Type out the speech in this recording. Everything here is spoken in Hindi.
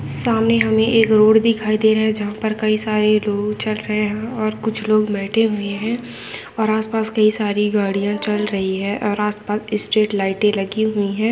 सामने हमे एक रोड दिखाई दे रहा है जहाँ पे कई सारे चल रहे और कुछ लोग बैठे हुए है और आसपास कई सारे गाड़ियां चल रही है और आसपास स्ट्रीट लाइटें लगी हुई है|